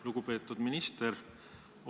Lugupeetud minister!